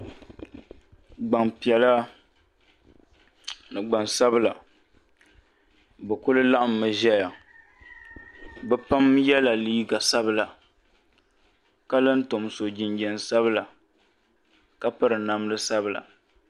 Gbampiɛla ni ɡbansabila bɛ kuli laɣimmi ʒɛya bɛ pam yɛla liiɡa sabila ka la tom so jinjam sabila ka piri namda sabila